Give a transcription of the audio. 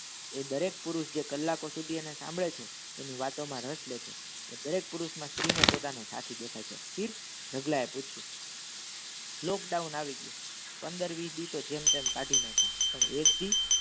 એ દરેક પુરુષ જે કલ્લાકો સુધી અને સાંભળે છે એની વાતો મા રસ લય છે દરે પુરુષ મા સ્ત્રી ને પોતાનો સાથી દેખાઈ છે પીર ઢગલા એ પૂછ્યુ lockdown આવી ગયું પંદર વીસ દિવસ જેમ તેમ કાઢી નાખીય પણ એજ ડી